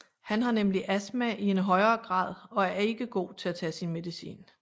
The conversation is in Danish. Han har nemlig astma i en højere grad og er ikke god til at tage sin medicin